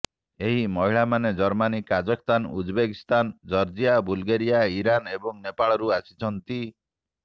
ଏହି ମହିଳାମାନେ Germany Kazakhstan Uzbekistan Georgia Bulgaria Iran ଏବଂ ନେପାଳରୁ ଆସିଛନ୍ତି